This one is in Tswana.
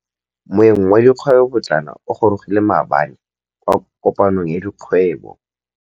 Moêng wa dikgwêbô pôtlana o gorogile maabane kwa kopanong ya dikgwêbô.